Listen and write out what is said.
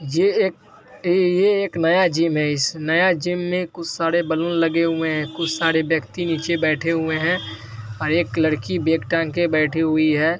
ये एक यह एक नया जिम है इस नया जिम में कुछ सारे बैलून लगे हुए है कुछ सारे व्यक्ति नीचे बेठे हुए है और एक लड़की बैग टांग के बैठी हुई है।